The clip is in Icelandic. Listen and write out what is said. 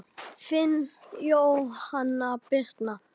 Þín Jóhanna Birna.